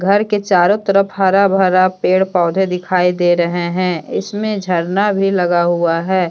घर के चारों तरफ हरा भरा पेड़ पौधे दिखाई दे रहे हैं इसमें झरना भी लगा हुआ है।